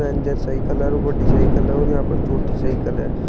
Ranger cycle और बडी cycle और यहां पर छोटी साइकल है।